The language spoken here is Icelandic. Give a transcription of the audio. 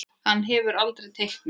Hann hefur aldrei teiknað annað.